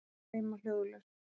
Þeir streyma hljóðlaust.